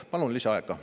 Palun lisaaega.